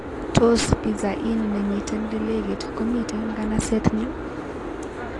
Tos pizza inn nemiten lelekit komiten nganaset nyu